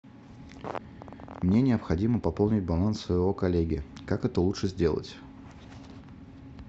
мне необходимо пополнить баланс своего коллеги как это лучше сделать